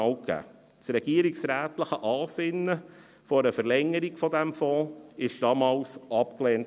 Das regierungsrätliche Ansinnen einer Verlängerung dieses Fonds wurde damals abgelehnt.